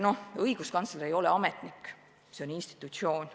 Õiguskantsler ei ole ametnik, see on institutsioon.